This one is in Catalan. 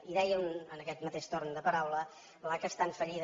i deia en aquest mateix torn de paraula l’aca està en fallida